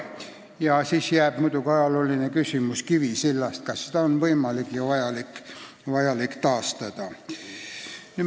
Ja siis jääb muidugi küsimus ajaloolisest Kivisillast: kas seda on võimalik ja vajalik taastada.